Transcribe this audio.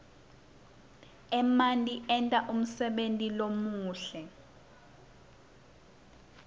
emanti enta umsebenti lomuhle